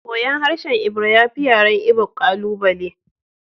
Koyon harshen Ebira ya fi yaren Igbo ƙalubale